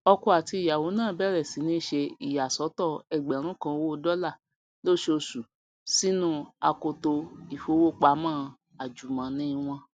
ọkọ àti ìyàwọ náà bẹrẹ sí ní ṣe ìyàsọtọ ẹgbẹrún kan owó dọlà lóṣooṣù sínu akoto ìfowópamọ àjùmọni wọn